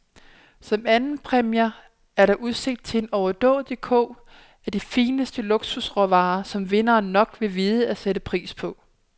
Som andenpræmier er der udsigt til en overdådig kurv af de fineste luksusråvarer, som vinderen nok vil vide at sætte pris på.